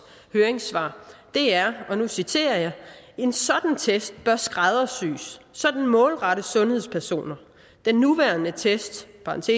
høringssvar er og nu citerer jeg en sådan test bør skræddersys så den målrettes sundhedspersoner den nuværende test